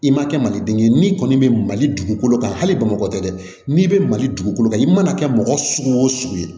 I ma kɛ maliden ye n'i kɔni bɛ mali dugukolo kan hali bamakɔ dɛ n'i bɛ mali dugukolo kan i mana kɛ mɔgɔ sugu o sugu ye